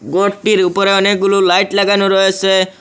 ঘরটির উপরে অনেকগুলো লাইট লাগানো রয়েছে।